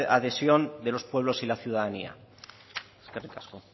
adhesión de los pueblos y la ciudadanía eskerrik asko